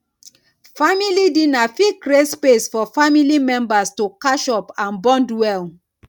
family dinner fit create space for family members to catch up and bond well